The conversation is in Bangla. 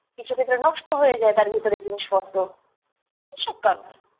কিছু ক্ষেত্রে নষ্ট হয়ে যায় তার ভিতরের জিনিসপত্র এইসব কারণে।